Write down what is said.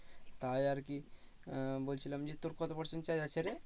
তাই আর কি আহ বলছিলাম যে তোর কত percent charge আছে রে?